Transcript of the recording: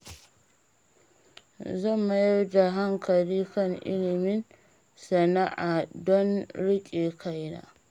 Zan mayar da hankali kan ilimin sana'a don riƙe kaina.